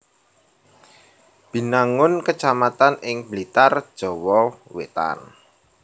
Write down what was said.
Binangun kecamatan ing Blitar Jawa Wétan